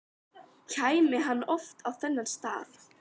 Kæmi hann oft á þennan stað?